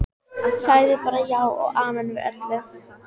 Sagði bara já og amen við öllu.